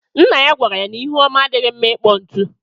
Nna ya gwara ya n’ihu ọma adighi mma ịkpọ ntu